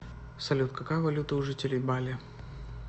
салют какая валюта у жителей бали